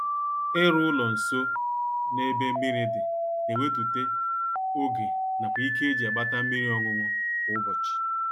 Ịrụ ụlọ nsọ n'ebe mmiri dị na ewetute oge nakwa ike e ji agbata mmiri ọṅụṅụ kwa ụbọchị